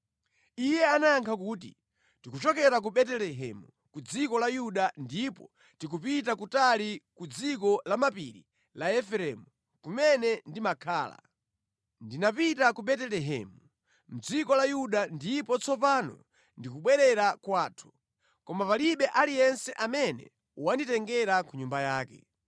Iye anayankha kuti, “Tikuchokera ku Betelehemu ku dziko la Yuda ndipo tikupita kutali ku dziko lamapiri la Efereimu kumene ndimakhala. Ndinapita ku Betelehemu mʼdziko la Yuda ndipo tsopano ndikubwerera kwathu. Koma palibe aliyense amene wanditengera ku nyumba yake.